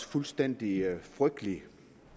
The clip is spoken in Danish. fuldstændig frygtelige